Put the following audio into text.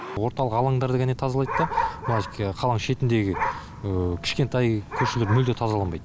орталық алаңдарды ғана тазалайды да қаланың шетіндегі кішкентай көшелер мүлде тазаланбайды